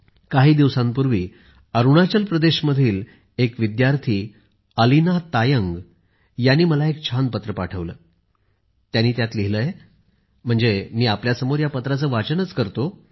काही दिवसांपूर्वी अरुणाचल प्रदेशमधील एक विद्यार्थी अलीना तायंग यांनी मला एक छान पत्र पाठवले आहे आणि त्यांनी त्यात लिहिले आहे मी आपल्यासमोर त्या पत्राचे वाचन करतो